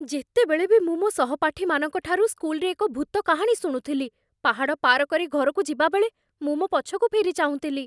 ଯେତେବେଳେ ବି ମୁଁ ମୋ ସହପାଠୀମାନଙ୍କ ଠାରୁ ସ୍କୁଲରେ ଏକ ଭୂତ କାହାଣୀ ଶୁଣୁଥିଲି, ପାହାଡ଼ ପାର କରି ଘରକୁ ଯିବାବେଳେ ମୁଁ ମୋ ପଛକୁ ଫେରି ଚାହୁଁଥିଲି।